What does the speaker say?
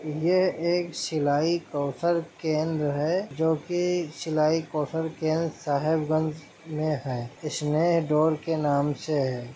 यह एक सिलाई कौशल केंद्र है जो की सिलाई कौशल केंद्र साहिबगंज में है स्नेह डोर के नाम से है।